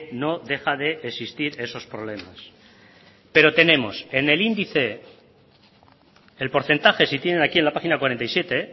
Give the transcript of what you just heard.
no deja de existir esos problemas pero tenemos en el índice el porcentaje si tienen aquí en la página cuarenta y siete